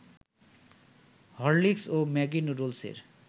Horlicks ও Maggi নুডলসের